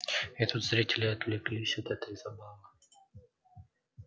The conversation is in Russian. и тут зрители отвлеклись от этой забавы